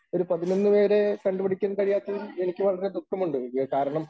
ഒരു പതിനൊന്ന് പേരെ കണ്ടുപിടിക്കാൻ കഴിയാത്തതിൽ എനിക്ക് വളരെ ദുഃഖമുണ്ട് കാരണം